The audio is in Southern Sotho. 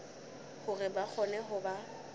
hore ba kgone ho ba